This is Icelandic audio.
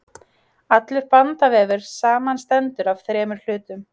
allur bandvefur samanstendur af þremur hlutum